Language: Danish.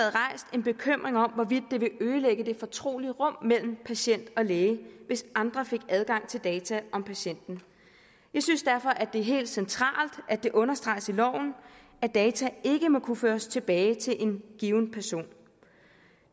en bekymring om hvorvidt det ville ødelægge det fortrolige rum mellem patient og læge hvis andre fik adgang til data om patienten jeg synes derfor at det er helt centralt at det understreges i loven at data ikke må kunne føres tilbage til en given person